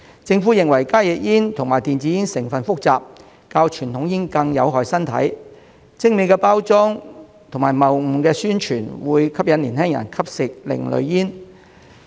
政府認為加熱煙和電子煙的成分複雜，較傳統煙更有害身體，精美包裝及謬誤的宣傳會吸引年輕人吸食另類煙。